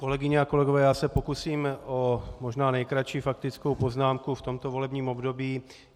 Kolegyně a kolegové, já se pokusím o možná nejkratší faktickou poznámku v tomto volebním období.